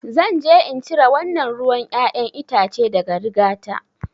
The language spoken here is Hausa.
Zan je in cire wannan ruwan ƴaƴan itace daga rigata.